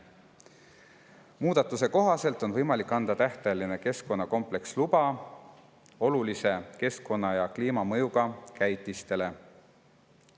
"Muudatuse kohaselt on võimalik anda tähtajaline keskkonnakompleksluba olulise keskkonna‑ ja kliimamõjuga käitistele.